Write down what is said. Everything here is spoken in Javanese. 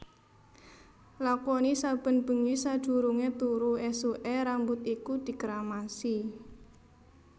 Lakoni saben bengi sadurungé turu esuké rambut iku dikeramasi